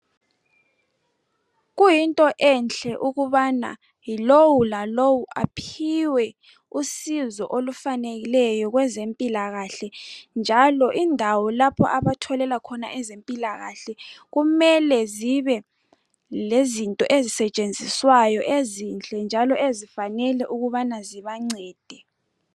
kuyinto ehle ukubana yilowu lalowu aphiwe usizo olufaneleyo kwezempilakale njalo indawo lapho abatholela khona ezempilakahle kumele zibe lezinto ezisetshenziswayo ezinhle njalo ezinele ukubana zibancede